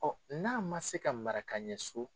Ɔn n'a ma se ka mara ka ɲɛ so